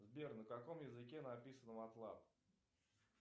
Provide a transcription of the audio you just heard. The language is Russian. сбер на каком языке написана матлаб